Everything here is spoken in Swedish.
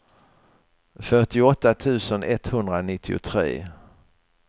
fyrtioåtta tusen etthundranittiotre